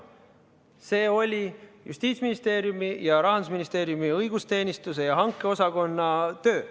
See oli Justiitsministeeriumi ja Rahandusministeeriumi õigusteenistuse ja riigihangete osakonna töö.